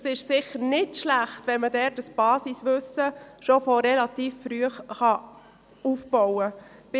Es ist sicher nicht schlecht, wenn man schon relativ früh ein Basiswissen aufbauen kann.